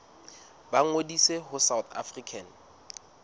ba ngodise ho south african